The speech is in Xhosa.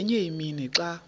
ngenye imini xa